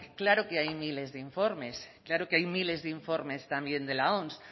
claro que hay miles de informes claro que hay miles de informes también de la oms